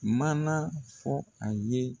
Mana fɔ a ye.